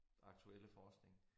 Aktuelle forskning